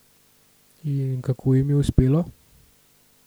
In kako jim je uspelo?